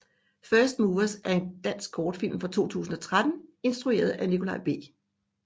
First Movers er en dansk kortfilm fra 2013 instrueret af Nikolaj B